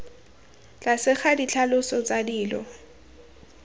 tlase ga ditlhaloso tsa dilo